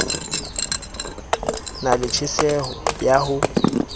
na le tjheseho ya ho